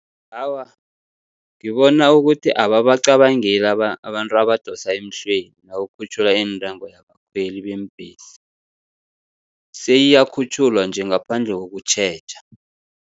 Awa, ngibona ukuthi ababacabangeli abantu abadosa emhlweni, nakukhutjhulwa iintengo yabakhweli beembhesi, seyiyakhutjhulwa nje ngaphandle kokutjheja.